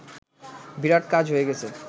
বিরাট কাজ হয়ে গেছে